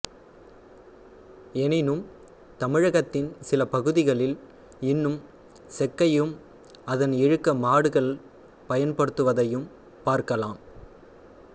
எனினும் தமிழகத்தின் சில பகுதிகளில் இன்னும் செக்கையும் அதனை இழுக்க மாடுகள் பயன்படுத்துவதையும் பார்க்கலாம்